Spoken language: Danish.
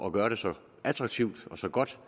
at gøre det så attraktivt og så godt